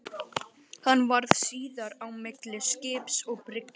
Hann varð síðar á milli skips og bryggju.